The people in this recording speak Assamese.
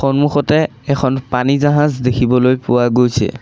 সন্মুখতে এখন পানী জাহাজ দেখিবলৈ পোৱা গৈছে।